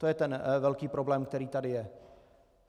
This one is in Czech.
To je ten velký problém, který tady je.